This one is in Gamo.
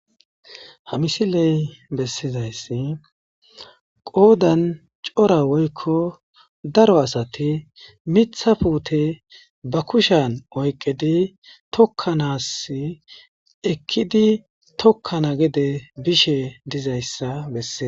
Ha misiley bessizayssi qoodan cora woykko daro asati mitha puute ba kushan oyqedi tokkanas ekkidi tokkana gede bishe dizayssa besse.